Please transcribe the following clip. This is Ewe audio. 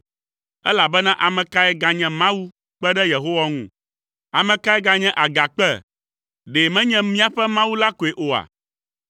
Elabena ame kae ganye Mawu kpe ɖe Yehowa ŋu? Ame kae ganye Agakpe, ɖe menye míaƒe Mawu la koe oa?